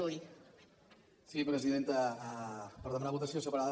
sí presidenta per demanar votació separada